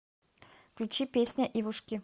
включи песня ивушки